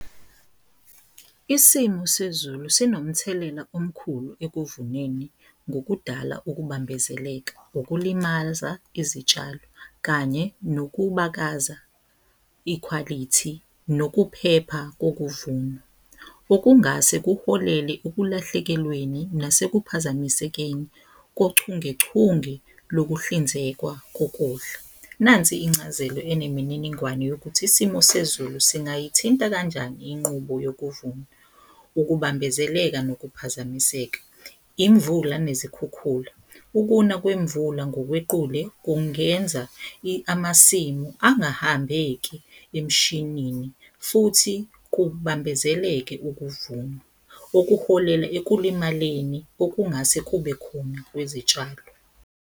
Isimo sezulu sinomthelela omkhulu ekuvuneni ngokudala ukubambezeleka, ukulimaza izitshalo kanye nokubakaza ikhwalithi, nokuphepha kokuvunwa okungase kuholele ukulahlekelweni nase kuphazamisekeni kochungechunge lokuhlinzekwa kokudla. Nansi incazelo enemininingwane yokuthi isimo sezulu singayithinta kanjani inqubo yokuvuna, ukubambezeleka nokuphazamiseka, imvula nezikhukhula. Ukuna kwemvula ngokwequle kungenza amasimu angahambeki emshinini futhi kubambezeleke ukuvunwa okuholela ekulimaleni okungase kube khona kwezitshalo.